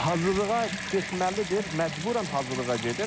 Hazırlığa getməlidir, məcburən hazırlığa gedir.